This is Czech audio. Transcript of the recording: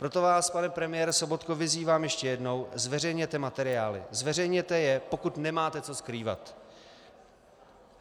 Proto vás, pane premiére Sobotko, vyzývám ještě jednou, zveřejněte materiály, zveřejněte je, pokud nemáte co skrývat.